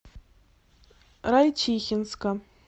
райчихинска